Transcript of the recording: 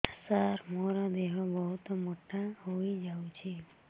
ସାର ମୋର ଦେହ ବହୁତ ମୋଟା ହୋଇଯାଉଛି